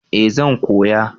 eh zan koya